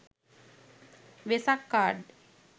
vesak card